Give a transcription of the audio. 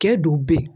Kɛ don bɛ ye